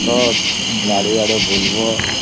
ଆସ ବାରି ଆଡେ ବୁଲିବା